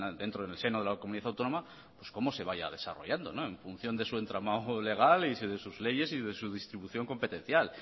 dentro del seno de la comunidad autónoma pues cómo se vaya desarrollando en función de su entramado legal y de sus leyes y de su distribución competencial